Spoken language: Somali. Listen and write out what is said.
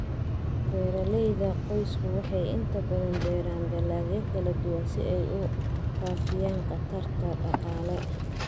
Beeralayda qoysku waxay inta badan beeraan dalagyo kala duwan si ay u faafiyaan khatarta dhaqaale.